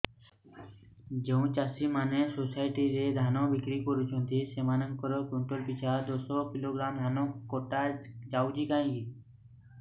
ଯେଉଁ ଚାଷୀ ମାନେ ସୋସାଇଟି ରେ ଧାନ ବିକ୍ରି କରୁଛନ୍ତି ସେମାନଙ୍କର କୁଇଣ୍ଟାଲ ପିଛା ଦଶ କିଲୋଗ୍ରାମ ଧାନ କଟା ଯାଉଛି କାହିଁକି